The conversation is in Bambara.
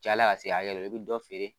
Cayala ka se hakɛ dɔ la i bi dɔ feere